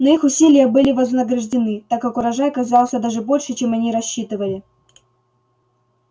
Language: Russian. но их усилия были вознаграждены так как урожай оказался даже больше чем они рассчитывали